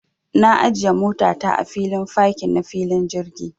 Na ajiya mota ta a filin fakin na filin jirgi.